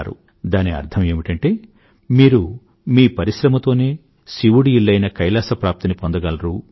దాని అర్థం ఏమిటంటే మీరు మీ పరిశ్రమతోనే శివుడి ఇల్లైన కైలాస ప్రాప్తిని పొందగలరు అని